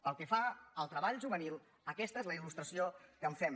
pel que fa al treball juvenil aquesta és la il·lustració que en fem